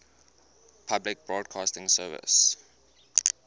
public broadcasting service